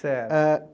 Certo. é...